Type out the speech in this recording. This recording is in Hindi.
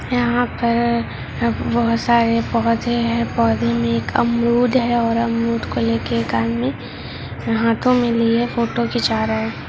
यहाँ पर अ बहुत सारे पौधे हैं पौधे में एक अमरूद है और अमरूद को लेकर एक आदमी हाथों में लिए फोटो खींचा रहा है।